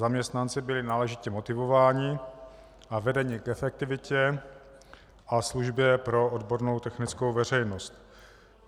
Zaměstnanci byli náležitě motivováni a vedeni k efektivitě a službě pro odbornou technickou veřejnost.